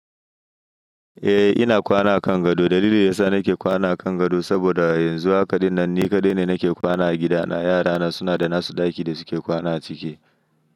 Eh ina kwana a kan gado. Dalilin da yasa nake kwana a kan gado saboda yanzu haƙa ɗinnan ni kaɗai ne nake kwana a gida na. Yara na suna da nasu ɗaki da suke kwana a ciki.